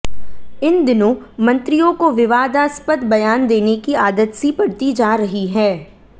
इन दिनों मंत्रियों को विवादास्पद बयान देने की आदत सी पड़ती जा रही है